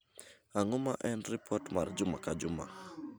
Ang’o ma en ripot mar juma ka juma?